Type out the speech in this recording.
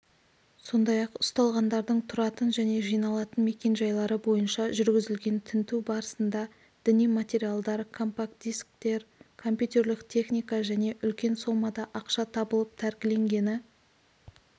сондай-ақ ұсталғандардың тұратын және жиналатын мекенжайлары бойынша жүргізілген тінту барысында діни материалдар компакт-дисктер компьютерлік техника және үлкен сомада ақша табылып тәркіленгені